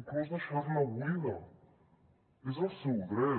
inclús deixar la buida és el seu dret